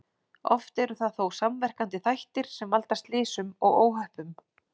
Oft eru það þó samverkandi þættir sem valda slysum og óhöppum.